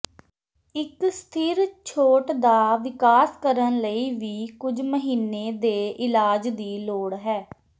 ਇੱਕ ਸਥਿਰ ਛੋਟ ਦਾ ਵਿਕਾਸ ਕਰਨ ਲਈ ਵੀ ਕੁਝ ਮਹੀਨੇ ਦੇ ਇਲਾਜ ਦੀ ਲੋੜ ਹੈ